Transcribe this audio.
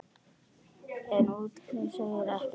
En útlitið segir ekki allt.